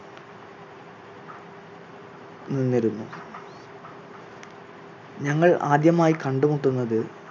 നിന്നിരുന്നു. ഞങ്ങൾ ആദ്യമായി കണ്ടുമുട്ടുന്നത്